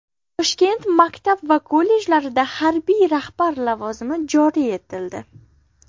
Toshkent maktab va kollejlarida harbiy rahbar lavozimi joriy etildi.